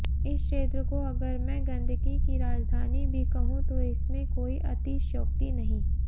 इस क्षेत्र को अगर मैं गंदगी की राजधानी भी कहूं तो इसमें कोई अतिशयोक्ति नहीं